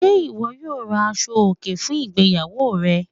Ṣé iwọ yóò rá àṣọ̀-ọkè fún ìgbéyàwó rẹ?